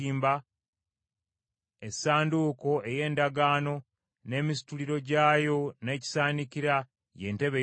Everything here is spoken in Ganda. essanduuko ey’Endagaano n’emisituliro gyayo n’ekisaanikira, ye ntebe ey’okusaasira;